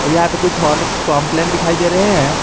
यहां पे कुछ हॉर्लिक्स कंप्लेन दिखाई दे रहे हैं।